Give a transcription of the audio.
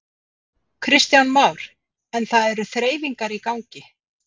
Kristján Már: En það eru þreifingar í gangi?